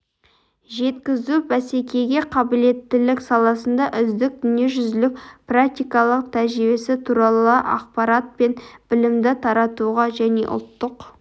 жеткізу бәсекеге қабілеттілік саласында үздік дүниежүзілік практикалық тәжірибесі туралы ақпарат пен білімді таратуға және ұлттық